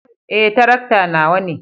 Eh, tarakta nawa ne.